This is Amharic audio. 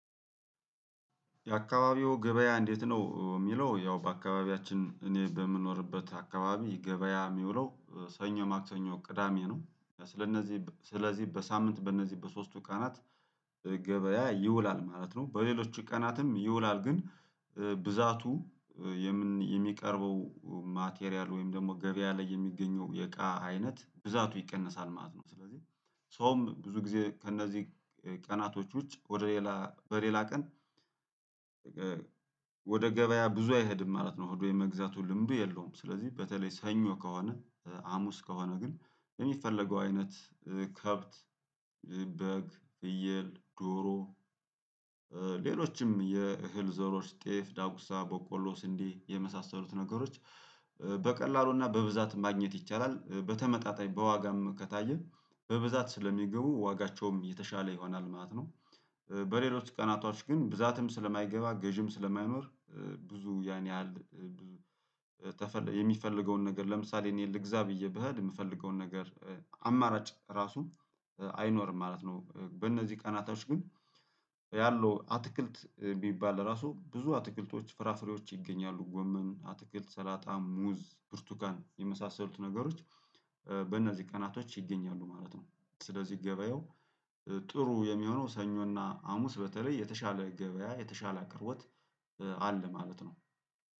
የአካባቢው ገበያ እንዴት ነው የሚለው ያው በአካባቢያችን እኔ በምኖርበት አካባቢ ገበያ የሚውለው ሰኞ ማክሰኞ ቅዳሜ ነው። ስለእነዚህ ስለዚህ በሳምንት በእነዚህ በሶስቱ ቀናት ገበያ ይውላል ማለት ነው። በሌሎች ቀናትም ይውላል ግን ብዛቱ የሚቀርበው ማቴሪያል ወይም ደግሞ ገበያ ላይ የሚገኘው የቃ አይነት ብዛቱ ይቀነሳል ማለት ነው ስለዚህ ሰውም ብዙ ጊዜ ከእነዚህ ቀናቶች ውጭ ወደ ሌላ በሌላ ቀን ወደ ገበያ ብዙ አይሄድም ማለት ነው ሆዱ የመግዛቱ ልምዱ የለውም ስለዚህ በተለይ ሰኞ ከሆነ ሀሙስ ከሆነ ግን የሚፈለገው አይነት ከብት በግ ፍየል ዶሮ ሌሎችም የእህል ዘሮች ጤፍ፣ ዳጉሳ፣ በቆሎስ፣ ስንዴ የመሳሰሉት ነገሮች በቀላሉና በብዛት ማግኘት ይቻላል። በተመጣጣኝ በዋጋም ከታየ በብዛት ስለሚገቡ ዋጋቸውም የተሻለ ይሆናል ማለት ነው። በሌሎች ቀናቶች ግን ብዛትም ስለማይገባ ገዢም ስለማይኖር ብዙ ያን ያህል የሚፈልገውን ነገር ለምሳሌ እኔ ልግዛ ብዬ ብሄድ የምፈልገውን ነገር አማራጭ ራሱ አይኖርም ማለት ነው በእነዚህ ቀናቶች ግን ያለው አትክልት ቢባል ለራሱ ብዙ አትክልቶች፣ ፍራፍሬዎች ይገኛሉ። ጎመን፣ አትክልት፣ ሰላጣ፣ ሙዝ፣ ብርቱካን የመሳሰሉት ነገሮች በእነዚህ ቀናቶች ይገኛሉ ማለት ነው። ስለዚህ ገበያው ጥሩ የሚሆነው ሰኞና ሀሙስ በተለይ የተሻለ ገበያ የተሻለ አቅርቦት አለ ማለት ነው።